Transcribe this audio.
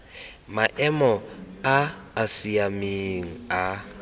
maemo a a siameng a